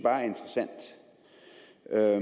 er